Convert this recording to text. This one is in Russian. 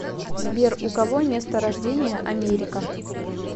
сбер у кого место рождения америка